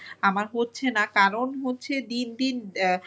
আমার হচ্ছে না কারণ হচ্ছে দিন দিন